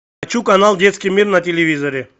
хочу канал детский мир на телевизоре